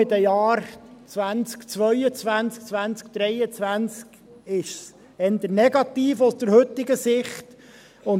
Vor allem in den Jahren 2022, 2023 ist es, aus heutiger Sicht, eher negativ.